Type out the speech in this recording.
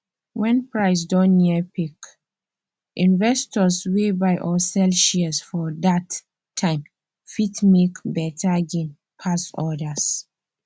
when price don near peak investors wey buy or sell shares for dat time fit make beta gain pass others